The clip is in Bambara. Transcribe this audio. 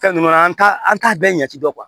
Fɛn ninnu an t'a an t'a bɛɛ jate dɔn